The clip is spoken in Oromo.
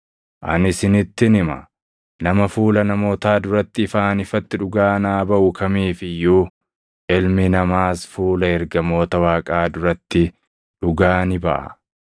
“Ani isinittin hima; nama fuula namootaa duratti ifaan ifatti dhugaa naa baʼu kamiif iyyuu, Ilmi Namaas fuula ergamoota Waaqaa duratti dhugaa ni baʼa.